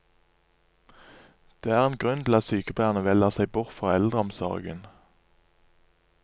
Det er en grunn til at sykepleiere velger seg bort fra eldreomsorgen.